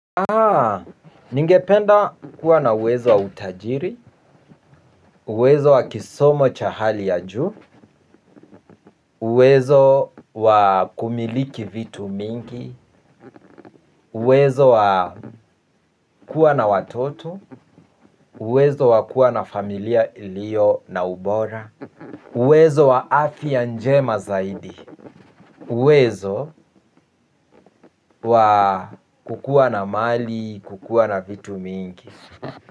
Haa, ningependa kuwa na uwezo wa utajiri, uwezo wa kisomo cha hali ya juu, uwezo wa kumiliki vitu mingi, uwezo wa kuwa na watoto, uwezo wa kuwa na familia iliyo na ubora, uwezo wa afya njema zaidi, uwezo wa kukua na mali, kukua na vitu vingi.